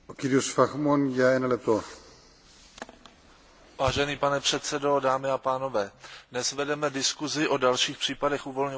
Vážený pane předsedo, dámy a pánové, dnes vedeme diskuzi o dalších případech uvolňování peněz Evropského fondu pro přizpůsobení se globalizaci.